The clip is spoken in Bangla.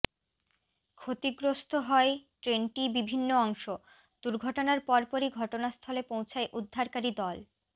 ক্ষতিগ্রস্ত হয় ট্রেনটি বিভিন্ন অংশ দুর্ঘটনার পরপরই ঘটনাস্থলে পৌঁছায় উদ্ধারকারী দল